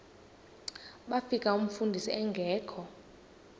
bafika umfundisi engekho